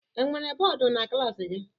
Enwere bọọdụ na klaasị gị?